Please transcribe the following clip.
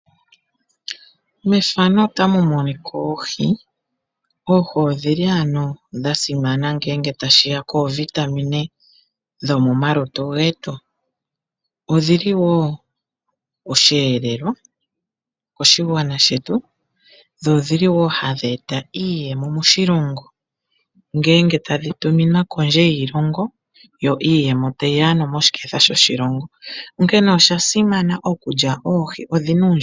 Mefano otamu monika oohi. Oohi odhili ano dha simana ngele tashiya koovitamin dhomomalutu getu. Odhili wo osheelelwa moshigwana shetu dho odhili wo hadhi eta iiyemo moshilongo shetu nokondje yoshilongo. Onkene osha simana okulya oohi oshoka odhina uundjolowele.